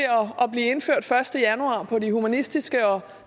at blive indført den første januar på de humanistiske og